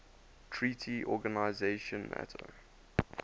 treaty organization nato